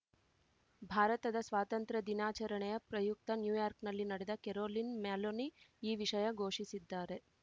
ಭಾರತದ ಸ್ವಾತಂತ್ರ್ಯ ದಿನಾಚರಣೆಯ ಪ್ರಯುಕ್ತ ನ್ಯೂಯಾರ್ಕ್ನಲ್ಲಿ ನಡೆದ ಕರೋಲಿನ್‌ ಮ್ಯಾಲೊನಿ ಈ ವಿಷಯ ಘೋಷಿಸಿದ್ದಾರೆ